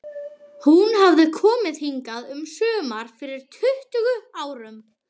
Hún hafði komið hingað um sumar fyrir tuttugu árum.